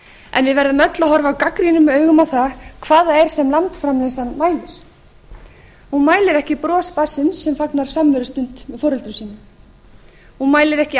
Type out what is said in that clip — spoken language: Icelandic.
en við verðum öll að horfa gagnrýnum augum á það hvað það er sem landsframleiðslan mælir hún mælir ekki bros barnsins sem fagnar samverustund með foreldrum sínum hún mælir ekki